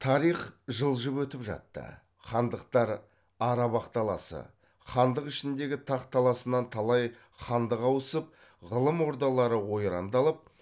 тарих жылжып өтіп жатты хандықтар ара бақталасы хандық ішіндегі тах таласынан талай хандық ауысып ғылым ордалары ойрандалып